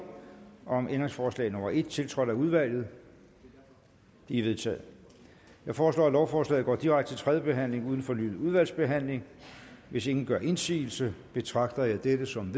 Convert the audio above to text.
om ændringsforslag nummer en tiltrådt af udvalget de er vedtaget jeg foreslår at lovforslaget går direkte til tredje behandling uden fornyet udvalgsbehandling hvis ingen gør indsigelse betragter jeg dette som